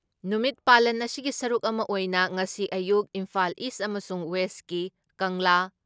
ꯅꯨꯃꯤꯠ ꯄꯥꯂꯟ ꯑꯁꯤꯒꯤ ꯁꯔꯨꯛ ꯑꯃ ꯑꯣꯏꯅ ꯉꯁꯤ ꯑꯌꯨꯛ ꯏꯝꯐꯥꯜ ꯏꯁ ꯑꯃꯁꯨꯡ ꯋꯦꯁꯀꯤ ꯀꯪꯂꯥ